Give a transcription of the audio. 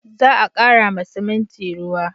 Za a kara ma siminti ruwa